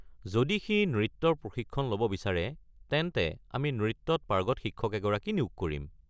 যদি সি নৃত্যৰ প্ৰশিক্ষণ ল'ব বিচাৰে তেন্তে আমি নৃত্যত পাৰ্গত শিক্ষক এগৰাকী নিয়োগ কৰিম।